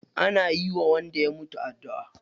Ana yiwa wanda ya mutu addu'a.